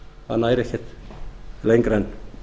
það nær ekkert lengra en